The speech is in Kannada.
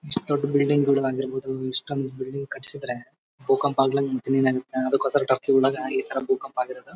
ಇಸ್ಟ್ ದೊಡ್ ಬಿಲ್ಡಿಂಗ್ ಗಳು ಆಗಿರ್ಬಹುದು ಇಷ್ಟೊಂದ್ ಬಿಲ್ಡಿಂಗ್ ಕಟಿಸಿದ್ರೆ ಬೂಕಂಪ ಅಗ್ಲ ಮತ್ ಇನ್ನೇನ್ ಆಗುತ್ತೆ. ಅದಕ್ಕೋಸ್ಕರ ಟರ್ಕಿ ಯೊಳಗ ಈ ತರ ಬೂಕಂಪ ಆಗಿರೋದು.